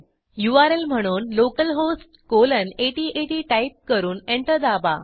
URL म्हणून localhost colon eighty eighty type करून enter दाबा